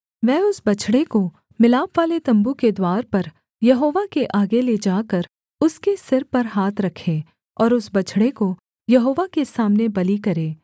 वह उस बछड़े को मिलापवाले तम्बू के द्वार पर यहोवा के आगे ले जाकर उसके सिर पर हाथ रखे और उस बछड़े को यहोवा के सामने बलि करे